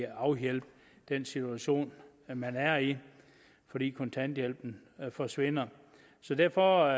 afhjælpe den situation man er i fordi kontanthjælpen forsvinder derfor